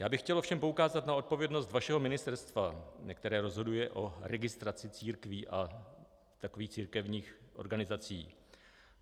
Já bych chtěl ovšem poukázat na odpovědnost vašeho ministerstva, které rozhoduje o registraci církví a takových církevních organizací.